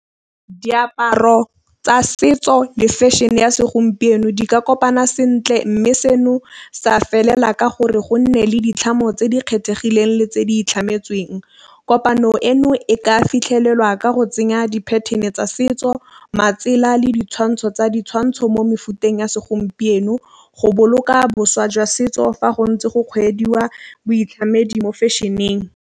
Diaparo tsa setso le fashion-e ya segompieno di ka kopana sentle mme seno sa felela ka gore gonne le ditlhamo tse di kgethegileng le tse di itlhametsweng. Kopano eno e ka fitlhelelwa ka go tsenya di-pattern-e tsa setso matsela le ditšhwantšho tsa ditšhwantšho mo mefuteng ya segompieno go boloka boswa jwa setso fa go ntse go kgweediwa boitlamedi mo fashion-eng.